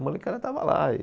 A molecada estava lá.